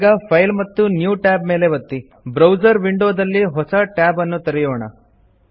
ಈಗ ಫೈಲ್ ಮತ್ತು new Tab ಮೇಲೆ ಒತ್ತಿ ಬ್ರೌಸರ್ ವಿಂಡೊದಲ್ಲಿ ಹೊಸ ಟ್ಯಾಬ್ ಅನ್ನು ತೆರೆಯೊಣ